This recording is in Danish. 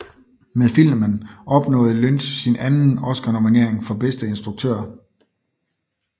Med filmen opnåede Lynch sin anden Oscarnominering for bedste instruktør